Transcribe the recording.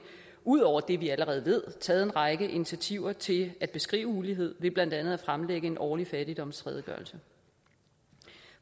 ud over det vi allerede ved taget en række initiativer til at beskrive uligheden blandt andet ved at fremlægge en årlig fattigdomsredegørelse